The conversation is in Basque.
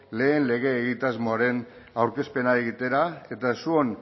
lehen lege egitasmoaren aurkezpena egitera eta zuon